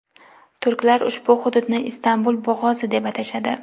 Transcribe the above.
Turklar ushbu hududni Istanbul bo‘g‘ozi, deb atashadi.